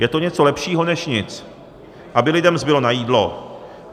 Je to něco lepšího než nic, aby lidem zbylo na jídlo.